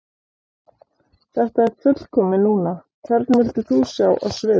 Þetta er fullkomið núna Hvern vildir þú sjá á sviði?